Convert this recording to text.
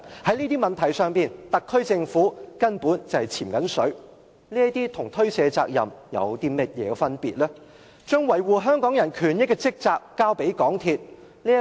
在這些問題上，特區政府根本是在推卸責任，把維護香港人權益的職責交給港鐵公司。